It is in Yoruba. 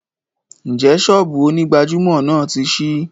Ǹjẹ́ ṣọ́ọ́bù onígbàjámọ̀ náà ti ṣí?